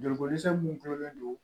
Joliko dɛsɛ mun tulolen don